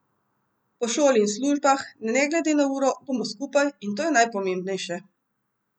Po šoli in službah, ne glede na uro, bomo skupaj, in to je najpomembnejše!